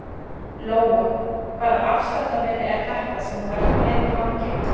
Lóa: Hvaða afsláttarmiði er þetta sem þú ert með í fanginu?